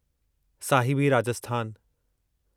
Sahibi Rajasthan